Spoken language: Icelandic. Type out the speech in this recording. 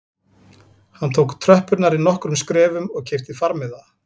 Hann tók tröppurnar í nokkrum skrefum og keypti farmiða